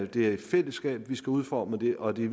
det er i fællesskab vi skal udforme det og det